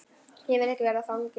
Ég vil ekki verða fangi.